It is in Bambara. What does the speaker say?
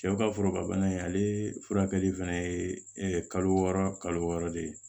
Cɛw ka foro ka bana in ale furakɛli fɛnɛ ye kalo wɔɔrɔ kalo wɔɔrɔ de ye